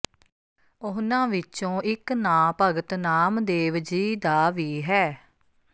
ਉਨ੍ਹਾਂ ਵਿੱਚੋਂ ਇਕ ਨਾਂ ਭਗਤ ਨਾਮਦੇਵ ਜੀ ਦਾ ਵੀ ਹੈ